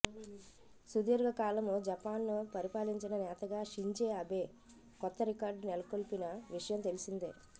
సుదీర్ఘకాలం జపాన్ను పరిపాలించిన నేతగా షింజే అబే కొత్త రికార్డు నెలకొల్పిన విషయం తెలిసిందే